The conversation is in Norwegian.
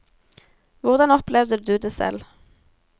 Hvordan opplevde du det selv?